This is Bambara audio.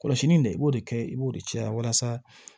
Kɔlɔsili in de i b'o de kɛ i b'o de caya walasa